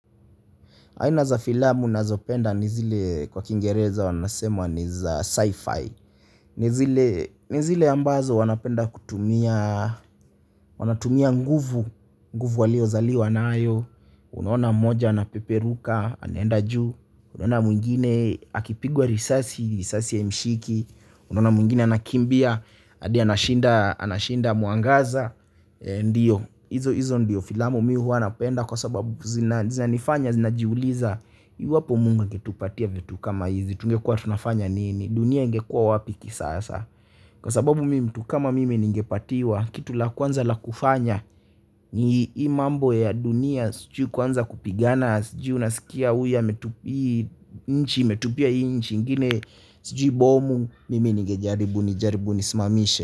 Aina za filamu nazopenda nizile kwa kingereza wanasema ni za sci-fi. Ni zile ambazo wanapenda kutumia, wanatumia nguvu, nguvu walio zaliwa n ayo. Unaona mmoja anapeperuka anaenda juu unaona mwingine akipigwa risasi, risasi haimshiki. Unaona mwingine anakimbia, adi anashinda anashinda mwangaza. Ndio hizo hizo ndio filamu mi huwa napenda kwa sababu zina zinanifanya zinajiuliza iwapo Mungu angetupatia vitu kama hizi, tungekua tunafanya nini, dunia ingekua wapi kisasa. Kwa sababu mimi mtu kama mimi ningepatiwa kitu la kwanza la kufanya ni hii mambo ya dunia sijui kuanza kupigana sijui unaskia huyu ametu hii nchi imetupia hii nchi ingine sijui bomu mimi ningejaribu nijaribu nisimamishe.